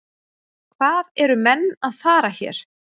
Hvað eru menn að fara hér?